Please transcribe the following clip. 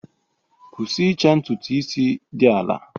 Kwụsị ịcha ntutu isi dị ala!